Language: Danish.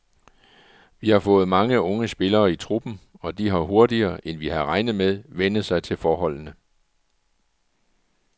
Vi har fået mange unge spillere i truppen, og de har hurtigere, end vi havde regnet med, vænnet sig til forholdene.